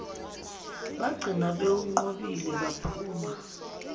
bagcina bewunqobile baphuma